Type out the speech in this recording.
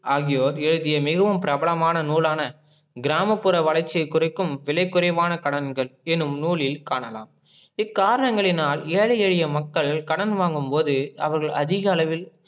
ஆகியோர் எழுதிய மிகவும் பிரபலமான நூல் ஆன கிராமபுற வளர்ச்சிய குறிக்கும் விலை குறைவான கடன்கள் எனும் நூலில் காணலாம். இக்காரனங்களினால் ஏழை எளிய மக்கள் கடன் வாங்கும் போது அவர்கள் அதிக அளவில்